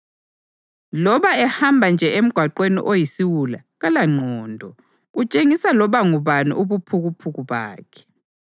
Loba ehamba nje emgwaqweni oyisiwula kalangqondo, utshengisa loba ngubani ubuphukuphuku bakhe.